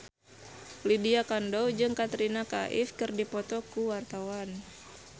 Lydia Kandou jeung Katrina Kaif keur dipoto ku wartawan